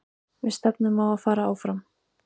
Við stefnum á að fara áfram.